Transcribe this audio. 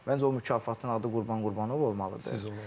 Məncə o mükafatın adı Qurban Qurbanov olmalıdır.